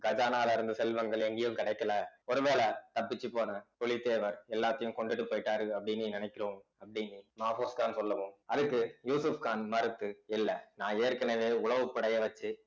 கஜானாவுல இருந்த செல்வங்கள் எங்கயும் கிடைக்கல ஒருவேளை தப்பிச்சு போன புலிதேவர் எல்லாத்தையும் கொண்டுட்டு போயிட்டாரு அப்படின்னு நினைக்கிறோம் அப்படின்னு மாபோஸ்கான் சொல்லவும் அதுக்கு யூசுப்கான் மறுத்து இல்ல நான் ஏற்கனவே உளவுப்படையை வச்சு